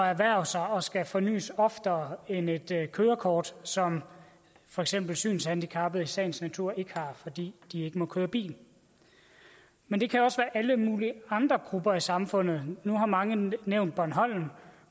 erhverve sig og skal fornys oftere end et kørekort som for eksempel synshandicappede i sagens natur ikke har fordi de ikke må køre bil men det kan også være alle mulige andre grupper i samfundet nu har mange nævnt bornholm